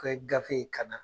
K'o kɛ gafe ye kana.